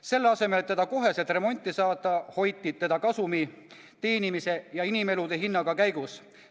Selle asemel, et ta kohe remonti saata, hoiti teda kasumi teenimise ja inimelude hinnaga käigus.